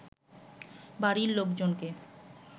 বাড়ির লোকজনকে